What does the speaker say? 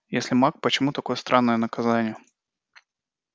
если маг почему такое странное наказание